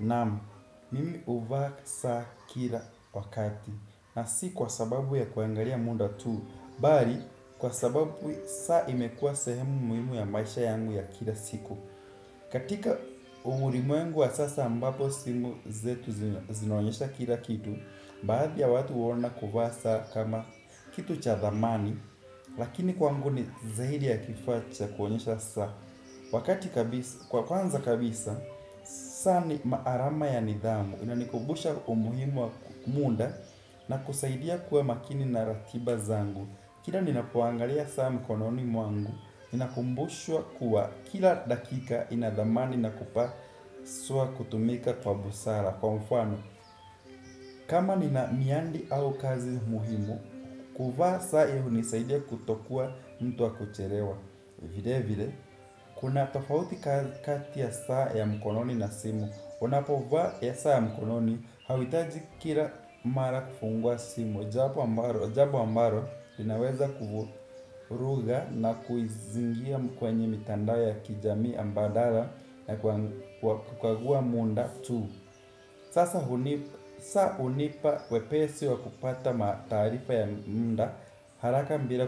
Nam, mimi huvaa saa kila wakati na si kwa sababu ya kuangalia muda tu bali, kwa sababu saa imekua sehemu muhimu ya maisha yangu ya kila siku. Katika ulimwengu wa sasa ambapo simu zetu zinonyesha kila kitu. Baadhi ya watu huona kuvaa saa kama kitu cha thamani. Lakini kwangu ni zaidi ya kifaa cha kuonyesha saa. Wakati kabisa, kwa kwanza kabisa, saa ni maarama ya nidhamu. Inanikumbusha umuhimu wa muda na kusaidia kuwa makini na ratiba zangu. Kila ninapoangalia saa mkononi mwangu, ninakumbushuwa kuwa kila dakika inadhamani na kupaswa kutumika kwa busara. Kwa mfano, kama nina miandi au kazi umuhimu, kuvaa saa ya hunisaidia kutokuwa mtu wa kuchelewa. Vile vile, kuna tofauti kati ya saa ya mkononi na simu. Unapovaa ya saa ya mkononi, hauhitaji kila mara kufungwa simu. Jambo ambalo, jambo ambalo, linaweza kuvuruga na kuizingira mkwenye mtandao ya kijamii ambadala. Na kukagua muda tu saa hunipa wepesi wa kupata matarifa ya muda. Haraka bila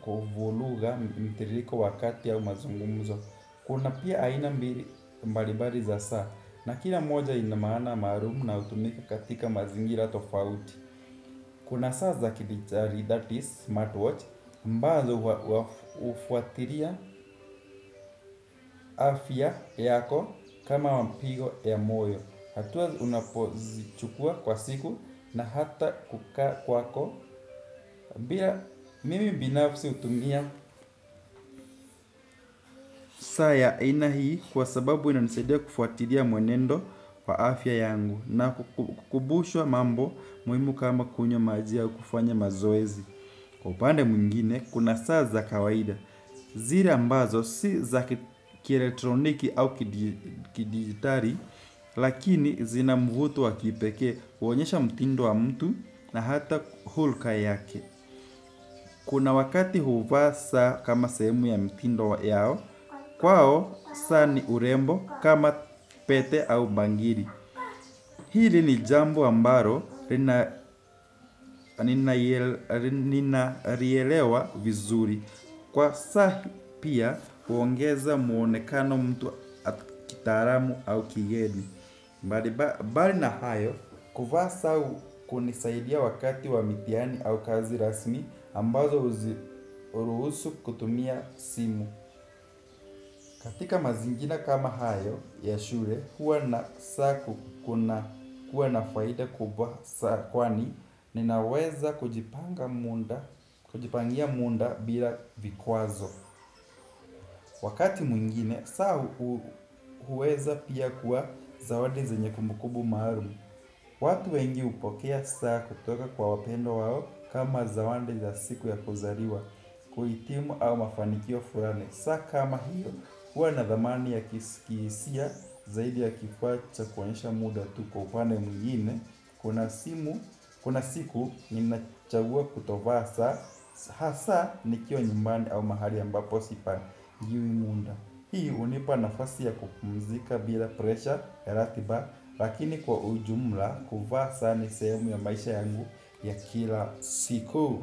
kufuruga mtiririko, wakati au mazungumuzo kuna pia aina mbili mbalimbali za saa. Na kila moja ina maana maalumu na utumika katika mazingiri tofauti. Kuna saa za kidigitali that is smartwatch ambazo hufuatilia afya yako kama wa mpigo ya moyo, hatuwa unapozichukua kwa siku na hata kukaa kwako bila mimi binafsi hutumia saa ya aina hii kwa sababu inanisaidia kufuatilia mwenendo wa afya yangu na kukumbushwa mambo muhimu kama kunywa maji ya kufanya mazoezi. Kwa upande mwingine, kuna saa za kawaida zile ambazo si za kielectroniki au kidigitali. Lakini zina mvuto wa kipekee, huonyesha mtindo wa mtu na hata hulka yake. Kuna wakati huvaa saa kama sehemu ya mtindo yao, kwao saa ni urembo kama pete au bangili. Hili ni jambo ambalo nina lielewa vizuri. Kwa saa pia, huongeza muonekano mtu kitaalamu au kigeni. Mbali na hayo, kuvaa saa hunisaidia wakati wa mitihani au kazi rasmi ambazo huruhusu kutumia simu. Katika mazingira kama hayo, ya shule, kuwa na saa kuna kuwa na faida kubwa saa kwani ninaweza kujipanga muda, kujipangia muda bila vikwazo. Wakati mwingine, saa huweza pia kuwa zawadi zenye kumbukumbu maalum. Watu wengi hupokea saa kutoka kwa wapendwa wao kama zawadi za siku ya kuzaliwa, kuhitimu au mafanikio fulani. Saa kama hiyo, huwa na dhamani ya kihisia zaidi ya kifaa cha kuonyesha muda tu, kwa upande mwingine, kuna siku nimechagua kutovaa saa, hasaa nikiwa nyumbani au mahali ambapo sipatiwi muda. Hii hunipa nafasi ya kupumzika bila presha ya ratiba. Lakini kwa ujumla kuvaa saa ni sehemu ya maisha yangu ya kila siku.